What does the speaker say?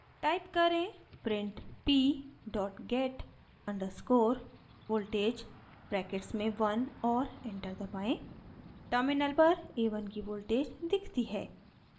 type करें: print p get _ voltage brackets में 1 और enter दबाएँ terminal पर a1 की voltage दिखती है